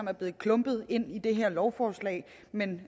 er blevet klumpet ind i det her lovforslag men